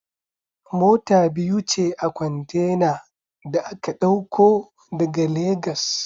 Mota biyu ce a kwantena da aka ɗauko daga Legas